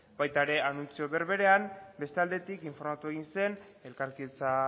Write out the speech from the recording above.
baita ere anuntzio berberean beste aldetik informatu egin zen elkarkidetza